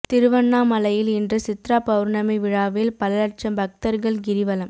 திருவண்ணாமலையில் இன்று சித்ரா பவுர்ணமி விழாவில் பல லட்சம் பக்தர்கள் கிரிவலம்